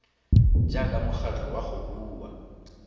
jaaka mokgatlho wa go rua